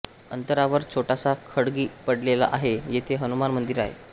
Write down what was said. अंतरावर छोटासा खळगी पडलेली आहे जेथे हनुमान मंदिर आहे